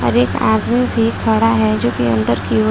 और एक आदमी भी खड़ा है जो कि अंदर की और --